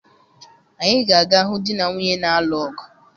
Anyị ga-aga hụ di na nwunye n'alụ ọgụ